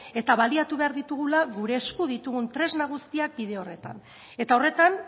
eta baliatu behar ditugula gure esku ditugun tresna guztiak bide horretan eta horretan